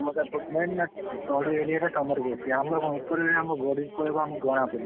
ତମର ସେପଟ ତଳି area ଟା ତମର ବେଶୀ ଆମେ କଣ ଉପରେ ରହିଲୁ ଗଡି ପଳେଇବ ଆମକୁ ଜଣା ପଡ଼ିବନି।